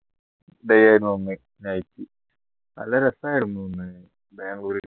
day ഏനു അന്ന് night നല്ല രസായിരുന്നു അന്ന് ബാംഗ്ലൂര്